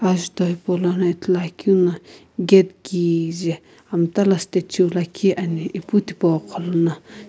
azuto hipou lono ithulu akeu no gate kijae amta la statue liikhi ane epu thipo gholono.